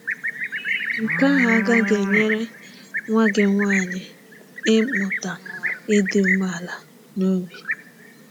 Nke ahụ agaghị enyere nwa gị nwanyị ịmụta ịdị umeala n’obi.